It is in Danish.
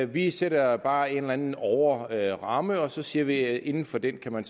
vi sætter bare en eller anden overordnet ramme og så siger vi at inden for den kan man